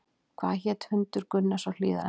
Hvað hét hundur Gunnars á Hlíðarenda?